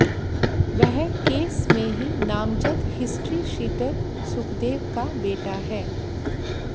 वह केस में ही नामजद हिस्ट्रीशीटर सुखदेव का बेटा है